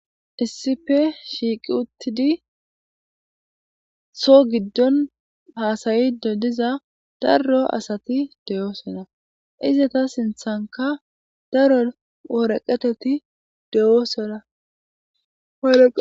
issipe shiiqi uttidi soo giddon haasayido diza darro asati deyoosonna izata sinthanka daro woreqeteti dewoosora